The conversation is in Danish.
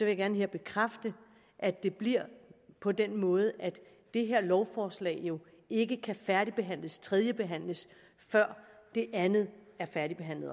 jeg gerne her bekræfte at det bliver på den måde at det her lovforslag ikke kan færdigbehandles tredjebehandles før det andet